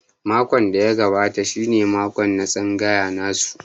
Mako da ya gabata shi ne mako na tsangaya nasu.